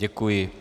Děkuji.